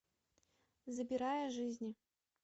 забирая жизни